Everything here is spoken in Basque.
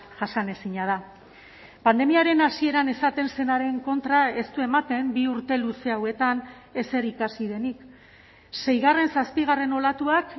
jasanezina da pandemiaren hasieran esaten zenaren kontra ez du ematen bi urte luze hauetan ezer ikasi denik seigarren zazpigarren olatuak